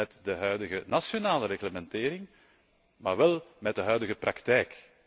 met de huidige nationale reglementering, maar wel met de huidige praktijk.